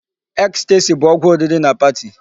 Ecstasy bụ ọgwụ oriri na party.